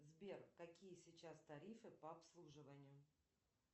сбер какие сейчас тарифы по обслуживанию